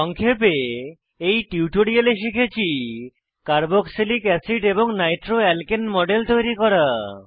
সংক্ষেপে এই টিউটোরিয়ালে শিখেছি কার্বক্সিলিক অ্যাসিড এবং নাইট্রোঅ্যালকেন মডেল তৈরি করা